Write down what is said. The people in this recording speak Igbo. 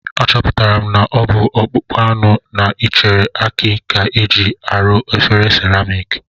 Achọpụtara m na ọ bụ ọkpụkpụ anụ na ichere aki ka e ji arụ efere seramik